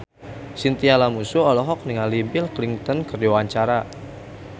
Chintya Lamusu olohok ningali Bill Clinton keur diwawancara